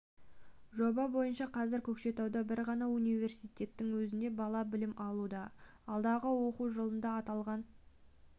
жоба бойынша қазір көкшетауда бір ғана университеттің өзінде бала білім алуда алдағы оқу жылында аталған